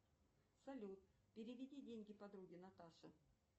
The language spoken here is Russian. салют переведи деньги подруге наташе